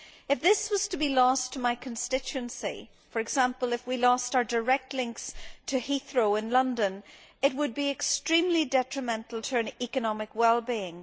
If this was to be lost to my constituency for example, if we lost our direct links to Heathrow in London it would be extremely detrimental to our economic well being.